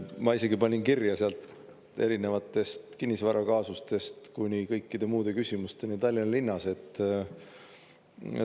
Ma isegi panin kirja sealt erinevatest kinnisvarakaasustest kuni kõikide muude küsimusteni Tallinna linnas.